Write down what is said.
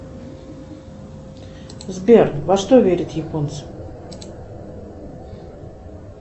сбер во что верят японцы